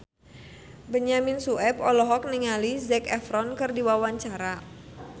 Benyamin Sueb olohok ningali Zac Efron keur diwawancara